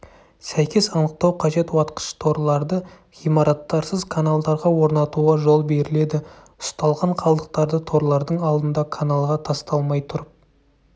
сәйкес анықтау қажет уатқыш-торларды ғимараттарсыз каналдарға орнатуға жол беріледі ұсталған қалдықтарды торлардың алдында каналға тасталмай тұрып